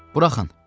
Buraxın!